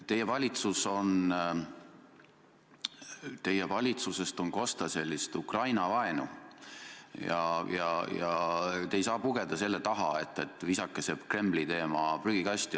Teie valitsusest on kosta Ukraina-vaenu ja te ei saa pugeda selle taha, et visake see Kremli teema prügikasti.